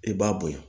I b'a bonya